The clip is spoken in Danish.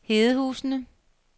Hedehusene